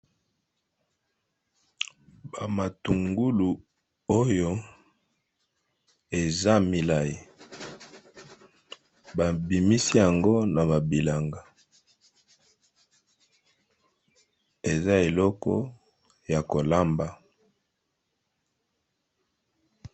Bamatungulu oyo eza milayi babimisi yango na bilanga eza eloko yakolamba.